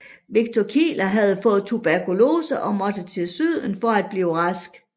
Victor Kieler havde fået tuberkulose og måtte til syden for at blive rask